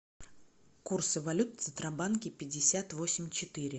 курсы валют в центробанке пятьдесят восемь четыре